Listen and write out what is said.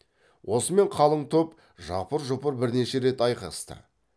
осымен қалың топ жапыр жұпыр бірнеше рет айқасты